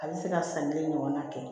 A bɛ se ka san kelen ɲɔgɔnna kɛ